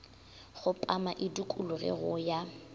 kgopama e dikologe go ya